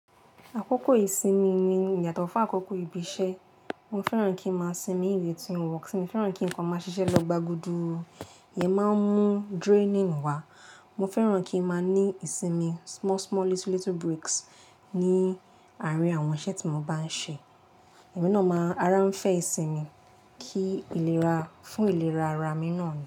Àkókò ìsinmi ni ìyàtọ̀ fún àkókò ibi iṣẹ́. Mo fẹ́ràn kí ń máa sinmi ìwé tí ó wọ́n. Mo fẹ́ràn kí nǹkan máa ṣiṣẹ́ lọ gbàgudù. Ìyẹn máa ń mú draining wá. Mo fẹ́ràn kí ń máa ní ìsinmi small, small, little, little breaks ní àárín àwọn iṣẹ́ tí mo bá ń ṣe. Ẹ̀mi náà máa ara ń fẹ́ ìsinmi kí ìlera, fún ìlera ara mi náà ni.